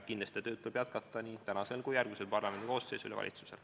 Kindlasti tuleb siin tööd jätkata nii tänasel kui ka järgmisel parlamendikoosseisul ja valitsusel.